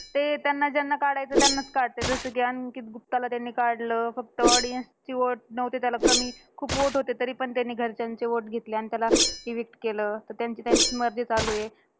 ते त्यांना ज्यांना काढायचं त्यांनाच काढतात. जसं कि अंकित गुप्ताला त्यांनी काढलं. फक्त audience चे vote नव्हते त्याला कमी. खूप vote होते, तरी पण त्यांनी घरच्यांचे vote घेतले आणि त्याला evict केलं ते त्यांची त्यांचीचं मर्जी चालूये.